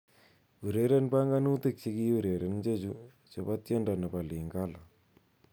Ureren banganutik chekiureren chechu chobi tiendo nebo Lingala